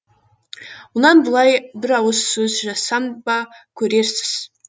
мұнан былай бір ауыз сөз жазсам ба көрерсіз